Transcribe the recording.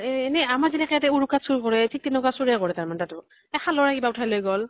এহ এনে আমাৰ যেনেকে ইয়াতে উৰকাত চুৰ কৰে, ঠিক তেনেকুৱা চুৰে কৰে তাতো। এহ খালৰে কিবা ওঠাই লৈ গʼল